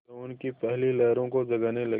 यौवन की पहली लहरों को जगाने लगी